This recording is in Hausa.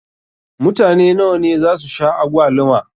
Mutane nawa ne zasu sha agwaluma?